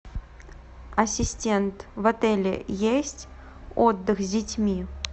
ассистент в отеле есть отдых с детьми